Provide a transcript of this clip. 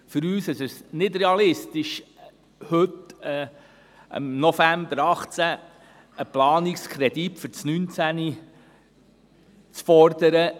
Für uns ist es nicht realistisch, heute, im November 2018, einen Planungskredit für das Jahr 2019 zu fordern.